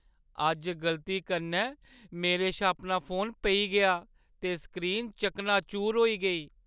अज्ज गलती कन्नै मेरे शा अपना फोन पेई गेआ ते स्क्रीन चकनाचूर होई गेई।